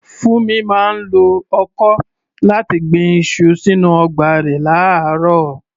Funmi máa ń lo ọkọ́ láti gbin iṣu sínú ọgbà rẹ̀ láàárọ̀.